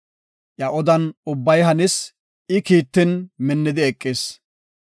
Iya odan ubbay hanis; I kiittin minnidi eqis.